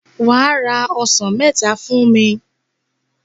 Wà á ra ọsàn mẹta fún mi.